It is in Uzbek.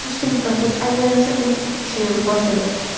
Toshkent fransuz alyansi o‘z ishini boshladi.